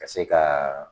Ka se ka